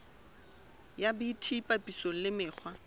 ya bt papisong le mekgwa